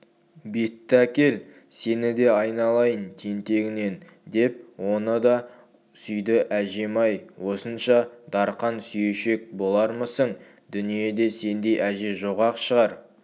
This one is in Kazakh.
бетті әкел сені де айналайын тентегінен деп оны да сүйді әжем-ай осынша дарқан сүйешек болармысың дүниеде сендей әже жоқ-ақ шығар